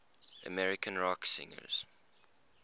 american rock singers